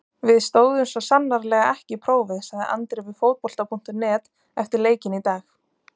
Við stóðumst svo sannarlega ekki prófið, sagði Andri við Fótbolta.net eftir leikinn í dag.